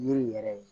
Yiri yɛrɛ ye